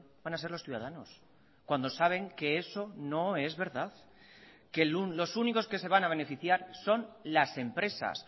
van a ser los ciudadanos cuando saben que eso no es verdad que los únicos que se van a beneficiar son las empresas